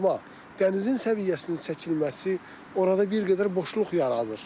Amma dənizin səviyyəsinin çəkilməsi orada bir qədər boşluq yaradır.